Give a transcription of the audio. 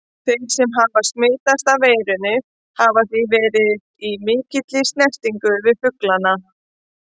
Þeir sem hafa smitast af veirunni hafa því verið í mikilli snertingu við fuglana.